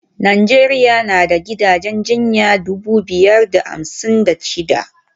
Najeriya na da gidajen jinya dubu biyar da hamsin da shida